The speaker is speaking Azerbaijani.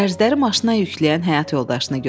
dərzləri maşına yükləyən həyat yoldaşını gördü.